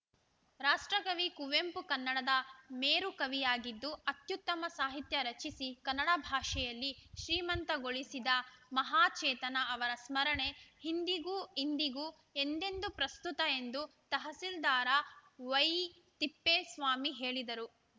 ರಾಷ್ಟ್ರಕವಿ ಕುವೆಂಪು ಕನ್ನಡದ ಮೇರು ಕವಿಯಾಗಿದ್ದು ಅತ್ಯುತ್ತಮ ಸಾಹಿತ್ಯ ರಚಿಸಿ ಕನ್ನಡ ಭಾಷೆಯಲ್ಲಿ ಶ್ರೀಮಂತಗೊಳಿಸಿದ ಮಹಾಚೇತನ ಅವರ ಸ್ಮರಣೆ ಹಿಂದಿಗೂಇಂದಿಗೂ ಎಂದೆಂದೂ ಪ್ರಸ್ತುತ ಎಂದು ತಹಸೀಲ್ದಾರಾ ವೈತಿಪ್ಪೇಸ್ವಾಮಿ ಹೇಳಿದರು